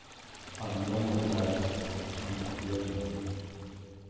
а мне мой нравится он офигенный